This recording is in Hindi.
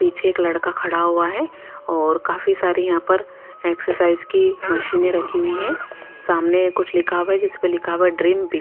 पीछे एक लड़का खड़ा हुआ है और काफी सारे यहां पर एक्सरसाइज की मशीने रखी हुई है सामने कुछ लिखा हुआ है जिसपे लिखा हुआ ड्रीम भी--